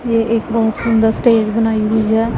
ये एक बहुत सुंदर स्टेज बनाई हुई है।